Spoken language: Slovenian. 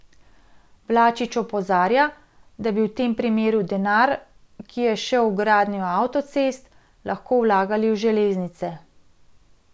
Vlačič opozarja, da bi v tem primeru denar, ki je šel v gradnjo avtocest, lahko vlagali v železnice.